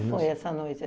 ...foi essa noite?